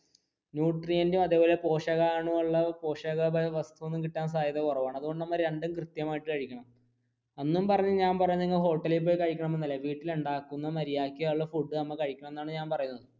ന്യൂട്രിയനും അതായത് പോഷകാണുഉള്ള അതായത് പോഷകരമായ വസ്തുക്കൾ കിട്ടാൻ സാധ്യത വളരെ കുറവാണ് അതുകൊണ്ടു നമ്മൾ രണ്ടും കൃത്യമായി കഴിക്കണം എന്നും പറഞ്ഞു ഞാൻ പറയണത് hotel ലിൽ പോയി കഴിക്കണം എന്നല്ല വീട്ടിൽ ഉണ്ടാക്കുന്ന മര്യാദക്ക് ഉളള food നമ്മൾ കഴിക്കണം എന്നാണ് ഞാൻ പറയുന്നത്.